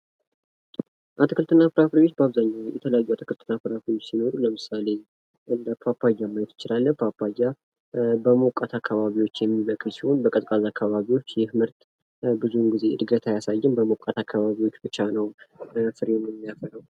አትክልት እና ፍራፍሬዎች በአብዛኛው የተለያዩ አትክልት እና ፍራፍሬዎች ሲኖሩ ለምሳሌ፦ ፓፓያ ማየት እንችላለን። ፓፓያ በሞቃት አካባቢዎች የሚበቅል ሲሆን በቀዝቃዛ አካባቢዎች ይህ ምርት ብዙው ግዜ ምርት አያሳይም። በሞቃት አካባቢዎች ብቻ ነው ፍሬም የሚያፈራው።